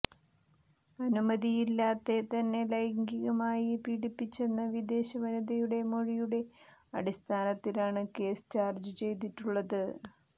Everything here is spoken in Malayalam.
അനുമതിയില്ലാതെ തന്നെ ലൈംഗികമായി പീഡിപ്പിച്ചെന്ന വിദേശ വനിതയുടെ മൊഴിയുടെ അടിസ്ഥാനത്തിലാണ് കേസ് ചാര്ജ്ജ് ചെയ്തിട്ടുള്ളത്